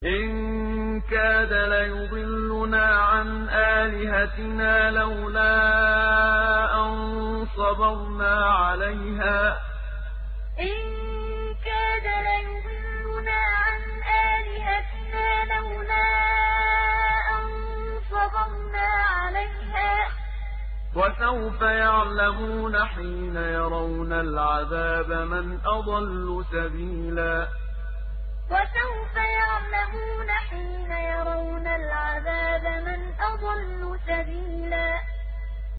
إِن كَادَ لَيُضِلُّنَا عَنْ آلِهَتِنَا لَوْلَا أَن صَبَرْنَا عَلَيْهَا ۚ وَسَوْفَ يَعْلَمُونَ حِينَ يَرَوْنَ الْعَذَابَ مَنْ أَضَلُّ سَبِيلًا إِن كَادَ لَيُضِلُّنَا عَنْ آلِهَتِنَا لَوْلَا أَن صَبَرْنَا عَلَيْهَا ۚ وَسَوْفَ يَعْلَمُونَ حِينَ يَرَوْنَ الْعَذَابَ مَنْ أَضَلُّ سَبِيلًا